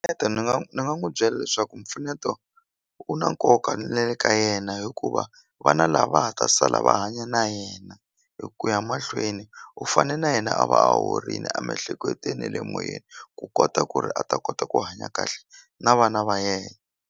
ni nga ni nga n'wu byela leswaku mpfuneto u na nkoka na le ka yena hikuva vana lava nga ha ta sala va hanya na yena hi ku ya mahlweni u fane na yena a va a horini a miehleketweni ne le moyeni ku kota ku ri a ta kota ku hanya kahle na vana va yena.